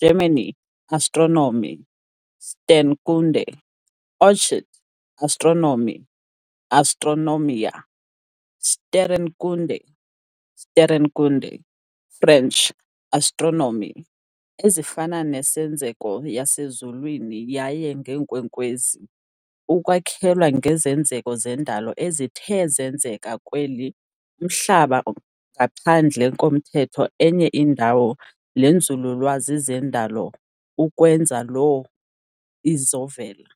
Germany- Astronomie, Sternkunde, orchid- astronomie, astronomia, sterrenkunde, sterrekunde, French- astronomie, ezifana nesenzeko yasezulwini yaye ngeenkwenkwezi, ukwakhelwa ngezenzeko zendalo ezithe zenzeka kweli Umhlaba ngaphandle komthetho enye indawo lenzululwazi zendalo ukwenza loo izovela.